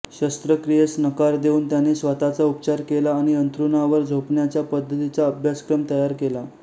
शस्त्रक्रियेस नकार देऊन त्याने स्वतःचा उपचार केला आणि अंथरूणावर झोपण्याच्या पद्धतीचा अभ्यासक्रम तयार केला